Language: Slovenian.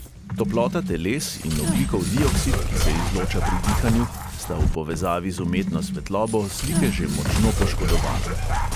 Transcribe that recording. Toplota teles in ogljikov dioksid, ki se izloča pri dihanju, sta v povezavi z umetno svetlobo slike že močno poškodovala.